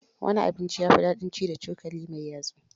Wani abinci ya fi dadin ci da cokali mai yatsu.